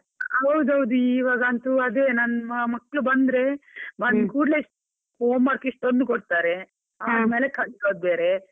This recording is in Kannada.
ಹೌದೌದು ಇವಾಗಂತೂ ಅದೇ ನನ್ ಮಕ್ಕಳು ಬಂದ್ರೆ, ಕುಡ್ಲೆ home work ಇಷ್ಟೊಂದು ಕೊಡ್ತಾರೆ ಆದ್ಮೇಲೆ ಕಲ್ಸೋದು ಬೇರೆ.